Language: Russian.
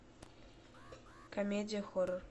комедия хоррор